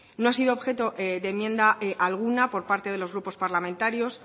no ha sido objeto de enmienda alguna por parte de los grupos parlamentarios